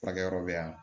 Furakɛ yɔrɔ bɛ yan